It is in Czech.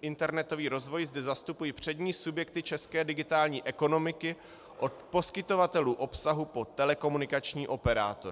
internetový rozvoj zde zastupuji přední subjekty české digitální ekonomiky od poskytovatelů obsahu po telekomunikační operátory.